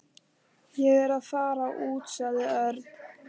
Ég er að fara út sagði Örn.